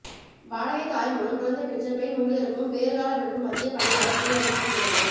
வாடகை தாய் மூலம் குழந்தை பெற்ற பெண் ஊழியருக்கும் பேறுகால விடுப்பு மத்திய பணியாளர் துறை அமைச்சகம் உத்தரவு